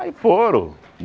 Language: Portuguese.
Aí foram.